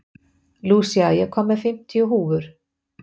Lúsía, ég kom með fimmtíu húfur!